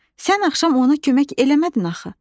Sən axşam ona kömək eləmədin axı.